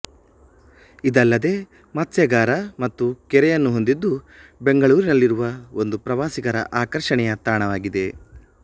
ಇದಲ್ಲದೇ ಮತ್ಸ್ಯಾಗಾರ ಮತ್ತು ಕೆರೆಯನ್ನು ಹೊಂದಿದ್ದು ಬೆಂಗಳೂರಿನಲ್ಲಿರುವ ಒಂದು ಪ್ರವಾಸಿಗರ ಆಕರ್ಷಣೆಯ ತಾಣವಾಗಿದೆ